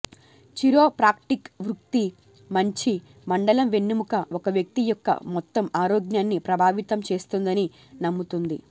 chiropractic వృత్తి మంచి మండలం వెన్నెముక ఒక వ్యక్తి యొక్క మొత్తం ఆరోగ్యాన్ని ప్రభావితం చేస్తుందని నమ్ముతుంది